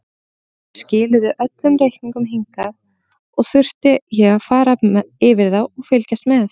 Þær skiluðu öllum reikningum hingað og þurfti ég að fara yfir þá og fylgjast með.